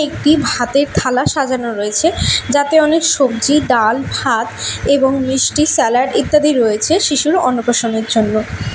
একটি ভাতের থালা সাজানো রয়েছে যাতে অনেক সবজি ডাল ভাত এবং মিষ্টি স্যালাড ইত্যাদি রয়েছে শিশুর অন্নপ্রাশনের জন্য।